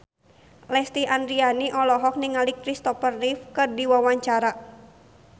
Lesti Andryani olohok ningali Kristopher Reeve keur diwawancara